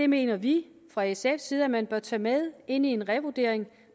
mener vi fra sfs side at man bør tage med ind i en revurdering